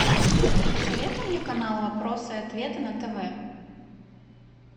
посоветуй мне канал вопросы и ответы на тв